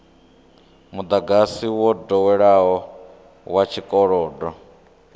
mudagasi wo doweleaho wa tshikolodo